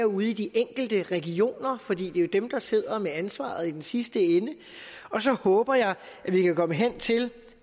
ude i de enkelte regioner for det er jo dem der sidder med ansvaret i den sidste ende og så håber jeg at vi kan komme hen til